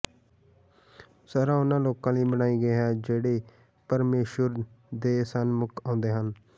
ਸ਼ਰ੍ਹਾ ਉਨ੍ਹਾਂ ਲੋਕਾਂ ਲਈ ਬਣਾਈ ਗਈ ਹੈ ਜਿਹੜੇ ਪਰਮੇਸ਼ੁਰ ਦੇ ਸਨਮੁਖ ਆਉਂਦੇ ਹਨ